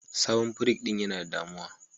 Sabon pirig din Yana da damu'a